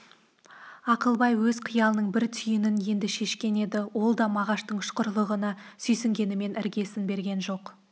ақылбай өз қиялының бір түйінін енді шешкен еді ол да мағаштың ұшқырлығына сүйсінгенмен іргесін берген жоқ